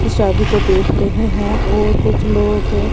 इस शादी को देख रहे हैं और कुछ लोग--